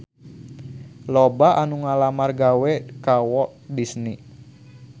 Loba anu ngalamar gawe ka Walt Disney